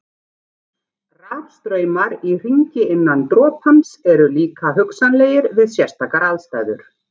Rafstraumar í hringi innan dropans eru líka hugsanlegir við sérstakar aðstæður.